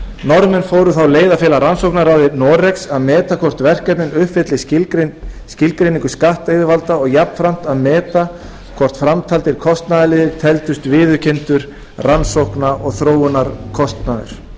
norðmenn fóru þá leið að fela rannsóknaraðild noregs að meta hvort verkefnin uppfylli skilgreiningu skattyfirvalda og jafnframt að meta hvort framtaldir kostnaðarliðir teldust viðurkenndur rannsókna og þróunarkostnaður þó